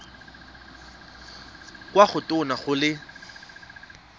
kwa go tona go le